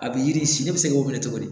A bɛ yiri si ne bɛ se k'o minɛ cogo di